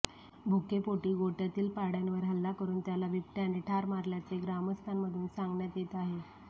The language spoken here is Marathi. भुकेपोटी गोठय़ातील पाडय़ावर हल्ला करून त्याला बिबटय़ाने ठार मारल्याचे ग्रामस्थांमधून सांगण्यात येत आहे